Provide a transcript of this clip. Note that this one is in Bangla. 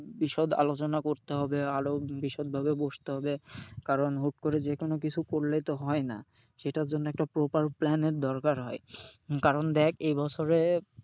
বিশদ আলোচনা করতে হবে আরও বিশদভাবে বসতে হবে। কারণ হুট করে যেকোনো কিছু করলে তো হয়না, সেটার জন্য একটা proper plan এর দরকার হয়। কারণ দেখ এই বছরে,